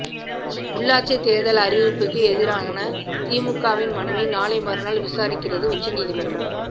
உள்ளாட்சித் தேர்தல் அறிவிப்புக்கு எதிரான திமுகவின் மனுவை நாளை மறுநாள் விசாரிக்கிறது உச்ச நீதிமன்றம்